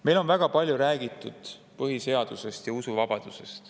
Meil on väga palju räägitud põhiseadusest ja usuvabadusest.